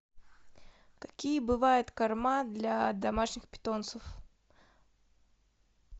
какие бывают корма для домашних питомцев